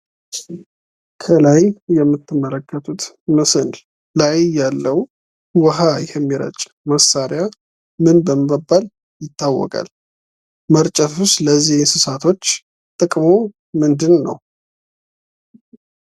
ከላይ የምትመለከቱት ምስል ላይ ያለው ውሃ የሚረጭ መሳሪያ ምን በመባል ይታወቃል? መርጨቱስ ለዚህ እንስሳቶች ጥቅሙ ምንድን ነው?